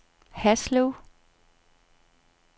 Haslev